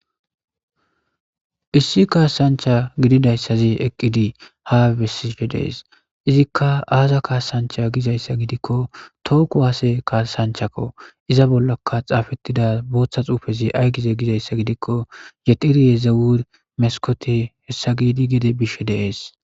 Issi kaasancha gididayssazi eqqidi hae besifhe dees izikka aaza kaasancha gizayssa gidikko tooko waase kaasanchakko iza bollaka xaafettida booththa xuufezi ay gize gizayssa gidikko yexiriyezewur meskote hessa giidi gede bishe dees.